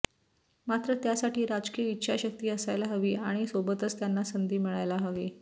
मात्र त्यासाठी राजकीय इच्छाशक्ती असायला हवी आणि सोबतच त्यांना संधी मिळायला हवी